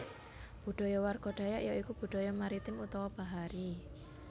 Budaya warga Dayak ya iku Budaya Maritim utawa bahari